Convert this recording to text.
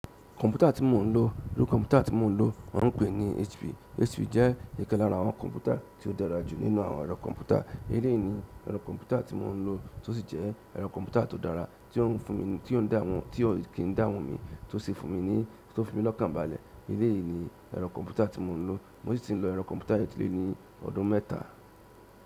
Kọ̀npútà tí mo ń lò, irú kọ̀npútà tí mo ń lò wọ́n ń pè ní HP. HP jẹ́ ikan lára àwọn kọ̀npútà tí ó dára jù nínú àwọn ẹ̀rọ kọ̀npútà. Iley ni ẹ̀rọ kọ̀ǹpútà tí mo ń lọ tó sì jẹ́ ẹ̀rọ kọ̀ǹpútà tó dára, tí o ń fún mi ní tí ò kì n dààmú mi tó fi mi lọ́kàn balẹ̀. Elé yìí ni ẹ̀rọ kọ̀npútà tí mo ń lò. Mo sì tí ń lo ẹ̀rọ kọ̀mpútà yìí ti lé ní ọdún mẹ́ta.